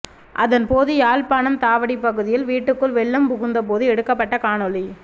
அதன் போது யாழ்ப்பாணம் தாவடி பகுதியில் வீட்டுக்குள் வெள்ளம் புகுந்தா போது எடுக்கப்பட்ட காணொளி